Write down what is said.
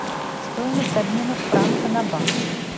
стоимость обмена франка на баксы